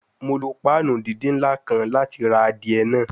Mo lo panu didin nla kan lati ra adie naa